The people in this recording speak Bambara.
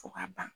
Fo ka ban